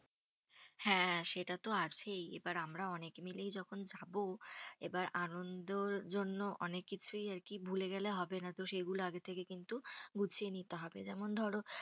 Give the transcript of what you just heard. হ্যাঁ সেটা তো আছেই। এবার আমরা অনেকে মিলেই যখন যাবো এবার আনন্দের জন্য অনেক কিছুই আর কি ভুলে গেলে হবে না। তো সেগুলো আগে থেকে কিন্তু গুছিয়ে নিতে হবে। যেমন ধরো,